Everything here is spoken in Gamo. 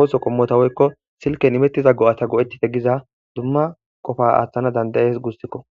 ooso qommota woykko silken imettiza go7ata go7ettite giza dumma qofa aaththana dandayees gussikko.